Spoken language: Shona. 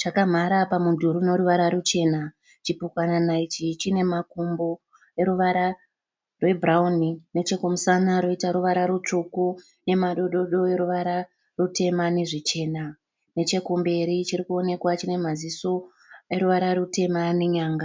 chakamhara pamudhuri unoruvara ruchena. Chipukanana ichi chinemakumbo eruvara rwebhurauni. Nechekumusana roita ruvara rutsvuku nemadododo eruvara rutema neruchena. Nechekumberi chirikuoneka chinemaziso eruvara rutema nenyanga.